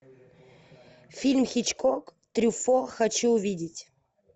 фильм хичкок трюффо хочу увидеть